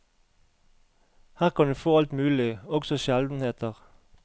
Her kan du få alt mulig, også sjeldenheter.